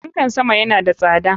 Fanka sama yana da tsada.